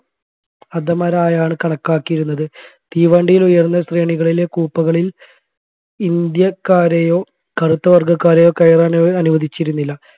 അധമറയാണ് കണക്കാക്കിയിരുന്നത് തീവണ്ടിയിൽ ഉയർന്ന ശ്രേണികളിലെ കൂപ്പകളി ഇന്ത്യക്കാരെയോ കറുത്തവർഗ്ഗക്കാരെയോ കയറാൻ അവർ അനുവദിച്ചിരുന്നില്ല